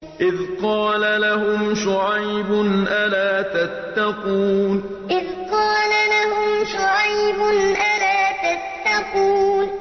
إِذْ قَالَ لَهُمْ شُعَيْبٌ أَلَا تَتَّقُونَ إِذْ قَالَ لَهُمْ شُعَيْبٌ أَلَا تَتَّقُونَ